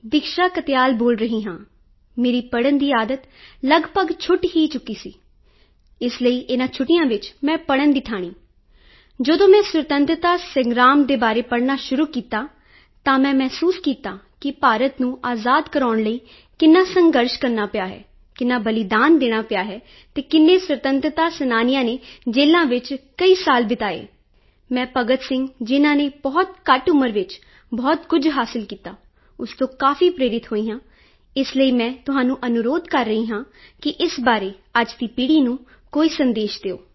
ਦੀਕਸ਼ਾ ਕਾਤਿਆਲ ਬੋਲ ਰਹੀ ਹਾਂ ਮੇਰੀ ਪੜਨ ਦੀ ਆਦਤ ਲੱਗਭਗ ਛੁੱਟ ਹੀ ਚੁੱਕੀ ਸੀ ਇਸ ਲਈ ਇਨਾਂ ਛੁੱਟੀਆਂ ਵਿੱਚ ਮੈਂ ਪੜਨ ਦੀ ਠਾਣੀ ਜਦੋਂ ਮੈਂ ਸੁਤੰਤਰਤਾ ਸੰਗ੍ਰਾਮ ਦੇ ਬਾਰੇ ਪੜਨਾ ਸ਼ੁਰੂ ਕੀਤਾ ਤਾਂ ਮੈਂ ਮਹਿਸੂਸ ਕੀਤਾ ਕਿ ਭਾਰਤ ਨੂੰ ਆਜ਼ਾਦ ਕਰਾਉਣ ਲਈ ਕਿੰਨਾ ਸੰਘਰਸ਼ ਕਰਨਾ ਪਿਆ ਹੈ ਕਿੰਨਾ ਬਲੀਦਾਨ ਦੇਣਾ ਪਿਆ ਹੈ ਕਿੰਨੇ ਸੁਤੰਤਰਤਾ ਸੈਨਾਨੀਆਂ ਨੇ ਜੇਲਾਂ ਵਿੱਚ ਕਈ ਸਾਲ ਬਿਤਾਏ ਮੈਂ ਭਗਤ ਸਿੰਘ ਜਿਨਾਂ ਨੇ ਬਹੁਤ ਘੱਟ ਉਮਰ ਵਿੱਚ ਬਹੁਤ ਕੁਝ ਹਾਸਿਲ ਕੀਤਾ ਉਸ ਤੋਂ ਕਾਫੀ ਪ੍ਰੇਰਿਤ ਹੋਈ ਹਾਂ ਇਸ ਲਈ ਮੈਂ ਤੁਹਾਨੂੰ ਅਨੁਰੋਧ ਕਰ ਰਹੀ ਹਾਂ ਕਿ ਇਸ ਬਾਰੇ ਅੱਜ ਦੀ ਪੀੜੀ ਨੂੰ ਕੋਈ ਸੰਦੇਸ਼ ਦਿਓ